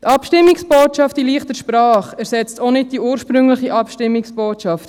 Die Abstimmungsbotschaft in «leichter Sprache» ersetzt auch nicht die ursprüngliche Abstimmungsbotschaft;